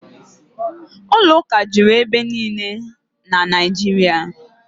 Ụlọụka juru ebe niile na Naịjirịa